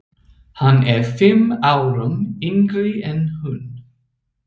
Hann er fimm árum yngri en hún.